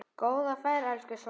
Góða ferð, elsku Svana.